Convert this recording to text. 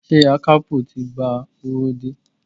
Ṣé akapo ti gba owó dé?